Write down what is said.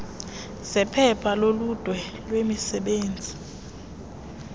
zephepha loludwe lwemisebenzi